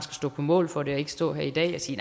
stå på mål for det og ikke stå her i dag og sige